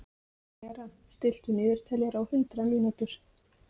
Bera, stilltu niðurteljara á hundrað mínútur.